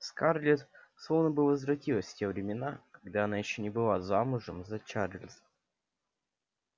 скарлетт словно бы возвратилась в те времена когда она ещё не была замужем за чарлз